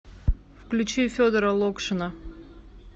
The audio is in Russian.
включи федора локшина